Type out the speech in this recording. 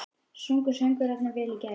Sungu söngvararnir vel í gær?